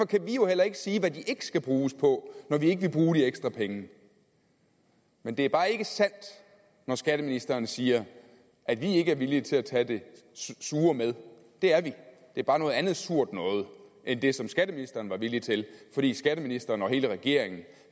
kan vi jo heller ikke sige hvad de ikke skal bruges på når vi ikke vil bruge de ekstra penge men det er bare ikke sandt når skatteministeren siger at vi ikke er villige til at tage det sure med det er vi det er bare noget andet surt end det skatteministeren var villig til fordi skatteministeren og hele regeringen